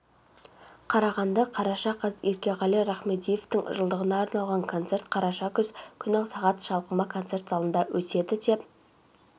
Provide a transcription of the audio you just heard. қарағанды қараша қаз еркеғали рахмедиевтің жылдығына арналған концерт қараша күні сағат шалқыма концерт залында өтеді деп